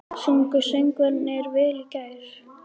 Sungu söngvararnir vel í gær?